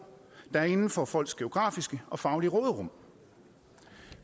inden for folks geografiske og faglige råderum